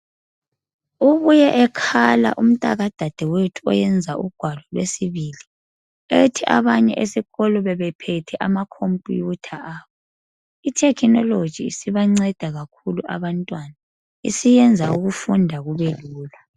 Ubuye ekhala umntaka dadewethu owenza ugwalo lwesibili ethi abanye esikolo bebephethe amakhompiyutha abo. Itekhinoloji isibanceda kakhulu abantwana, isiyenza ukufunda kube lula.